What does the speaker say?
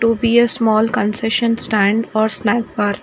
To be a small concession stand or snack bar.